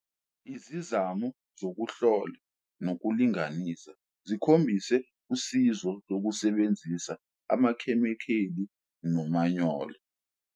Izizamo zokuhlola nokulinganisa zikhombise usizo lokusebenzisa amakhemikheli nomanyolo.